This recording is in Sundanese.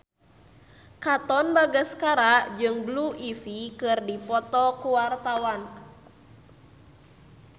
Katon Bagaskara jeung Blue Ivy keur dipoto ku wartawan